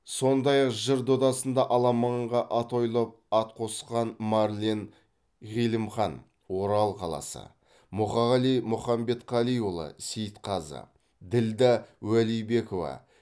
сондай ақ жыр додасында аламанға атойлап ат қосқан марлен ғилымхан орал қаласы мұқағали мұханбетқалиұлы сейітқазы ділда уәлибекова